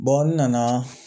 n nana